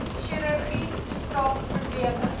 chirurgie spraak probleme